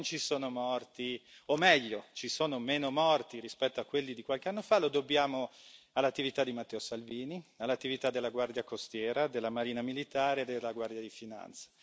Se oggi non ci sono morti, o meglio, ci sono meno morti rispetto a quelli di qualche anno fa, lo dobbiamo all'attività di Matteo Salvini, all'attività della Guardia Costiera, della Marina militare e della Guardia di Finanza.